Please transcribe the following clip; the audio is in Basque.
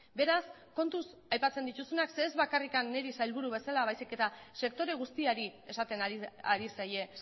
beraz kontuz aipatzen dituzunak zeren ez bakarrik niri sailburu bezala baizik eta sektore guztiari esaten ari zaie